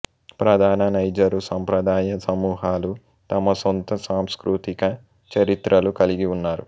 ప్రధాన నైజరు సంప్రదాయ సమూహాలు తమ సొంత సాంస్కృతిక చరిత్రలు కలిగి ఉన్నారు